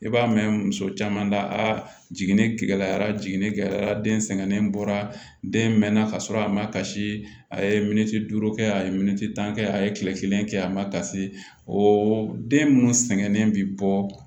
I b'a mɛn muso caman da a jiginnen yara jiginni kɛla den sɛgɛnnen bɔra den mɛnna ka sɔrɔ a ma kasi a ye min duuru kɛ a ye tan kɛ a ye kile kelen kɛ a ma kasi o den munnu sɛgɛnnen bi bɔ